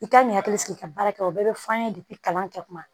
I kan k'i hakili sigi i ka baara kɛ o bɛɛ bɛ f'an ye kalan kɛ kuma